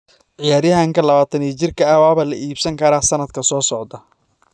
Ciyaaryahanka 24-jirka ah waa la iibin karaa sanadka soo socda.